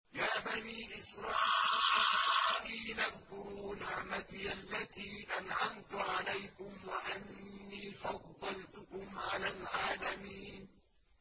يَا بَنِي إِسْرَائِيلَ اذْكُرُوا نِعْمَتِيَ الَّتِي أَنْعَمْتُ عَلَيْكُمْ وَأَنِّي فَضَّلْتُكُمْ عَلَى الْعَالَمِينَ